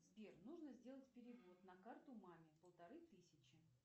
сбер нужно сделать перевод на карту маме полторы тысячи